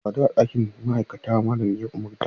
Mu sadu a ɗakin ma'aikata, malamin ya umarta.